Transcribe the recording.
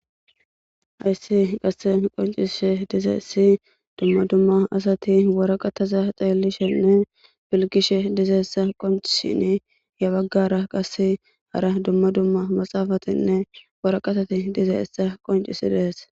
Hayisi qasse qoncishe diza issi dumma dumma asati waraqataza xeelishenne bilkishe dizaessa qoncshini yabaggara qasse hara dumma dumma maxaafatinne waraqatati diza issa qoncisi dehes